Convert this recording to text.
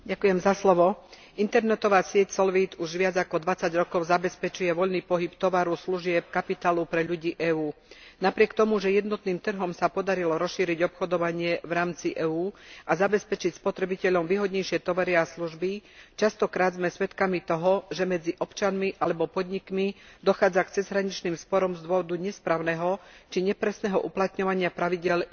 Internetová sieť Solvit už viac ako 20 rokov zabezpečuje voľný pohyb tovaru, služieb, kapitálu pre ľudí EÚ. Napriek tomu, že jednotným trhom sa podarilo rozšíriť obchodovanie v rámci EÚ a zabezpečiť spotrebiteľom výhodnejšie tovary a služby, častokrát sme svedkami toho, že medzi občanmi alebo podnikmi dochádza k cezhraničným sporom z dôvodu nesprávneho či nepresného uplatňovania pravidiel jednotného trhu.